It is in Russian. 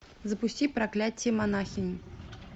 запусти проклятие монахини